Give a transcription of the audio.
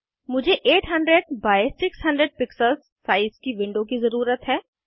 मुझे 800 by 600 pixels size की window की ज़रुरत है